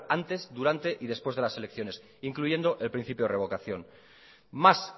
antes durante y después de las elecciones incluyendo el principio de revocación más